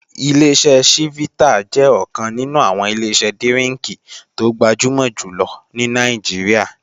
Ileṣẹ́ ṣífítà jẹ́ ọ̀kan nínú àwọn Ileṣẹ́ dírínkì tó gbajúmò jùlọ ní Nàìjíríà